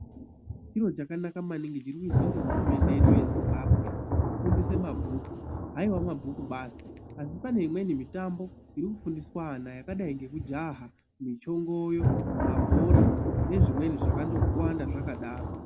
Chiro chakanaka maningi chiri kuizwa nge hurumende yedu yeZimbabwe kufundise mabhuku, haiwa mabhuku basi asi paneimweni mitambo irikufundiswa ana yakadai ngekujaha ,michongoyo, mabhora nezvimweni zvakandowanda zvakadaro.